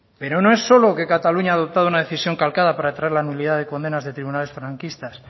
pero no es solo que cataluña haya adoptado una decisión calcada para traer la nulidad de condenas de tribunales franquistas